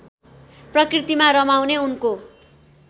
प्रकृतिमा रमाउने उनको